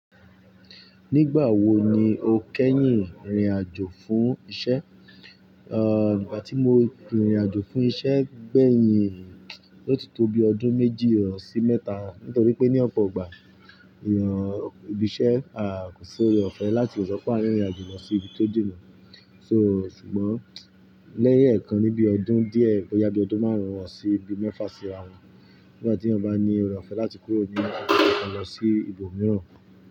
Nígbà wo ni o kẹ́yìn rìnrìn àjò fún iṣẹ́? À, ìgbà tí mo rìnrìn àjò fún iṣẹ́ gbẹ̀yìn ló ti tóbi ọdún méjì ọ̀sì mẹ́ta, nítorí pé ní ọ̀pọ̀ ọgbà èèyàn òbí iṣẹ́ a kò ṣe rò ọ̀fẹ́ láti lè sọ pé a rìnrìn àjò lọ sí ibi tó dènà. So ṣùgbọ́n lẹ́yìn ẹ̀ẹ̀kan níbi ọdún díẹ̀, ó yabi ọdún márùn-ún wọ̀ sí ibi mẹ́fà síra wọn. Nígbà tí èèyàn bá ní ẹrù ọ̀fẹ́ láti kúrò ní ibi kan lọ sí ibòmíràn.